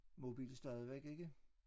Mobil stadigvæk ikke